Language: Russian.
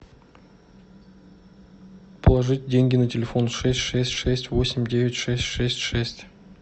положить деньги на телефон шесть шесть шесть восемь девять шесть шесть шесть